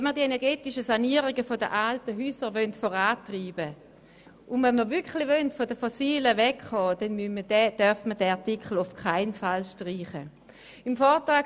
Wenn wir die energetische Sanierung der alten Häuser vorantreiben und wirklich von den fossilen Energien wegkommen wollen, darf dieser Artikel auf keinen Fall gestrichen werden.